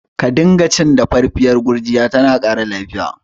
Ka dinga cin dafaffiyar gurjiya, tana ƙara lafiya